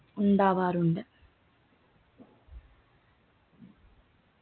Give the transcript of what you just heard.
ഉണ്ടാകാറുണ്ട്